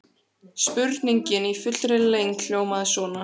Spurningin í fullri lengd hljómaði svona: